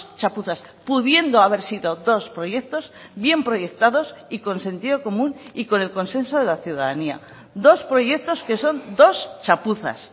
chapuzas pudiendo haber sido dos proyectos bien proyectados y con sentido común y con el consenso de la ciudadanía dos proyectos que son dos chapuzas